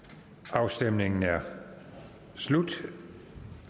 afstemningen er slut